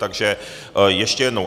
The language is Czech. Takže ještě jednou.